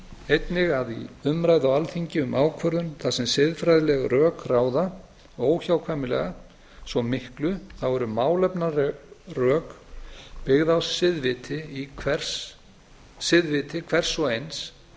einnig að í umræðu á alþingi um ákvörðun þar sem siðfræðileg rök ráða óhjákvæmilega svo miklu þá eru málefnaleg rök byggð á siðviti hvers og eins